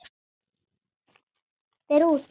Fer út.